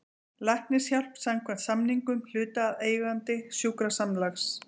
Læknishjálp samkvæmt samningum hlutaðeigandi sjúkrasamlags.